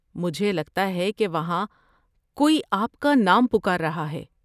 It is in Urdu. مجھے لگتا ہے کہ وہاں کوئی آپ کا نام پکار رہا ہے۔